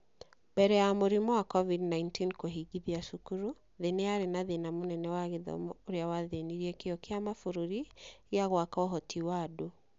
Mbere ya mũrimũ wa COVID-19 kũhingithia cukuru, thĩ nĩ yarĩ na thĩna mũnene wa gĩthomo ũrĩa wathĩnirie kĩyo kĩa mabũrũri gĩa gwaka ũhoti wa andũ.